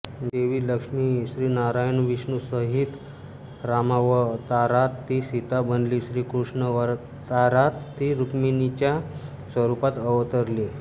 देवी लक्ष्मी श्रीनारायणविष्णूसहित रामावतारात ती सीता बनली कृष्णावतारात ती रुक्मिणीच्या स्वरूपात अवतरली